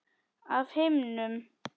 Af himnum?